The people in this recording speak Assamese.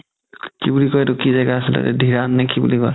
কি বুলি কই এইটো কি জেগা আছিলে যে ধিৰানং নে কি বুলি কই